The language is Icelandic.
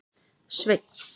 Sveinn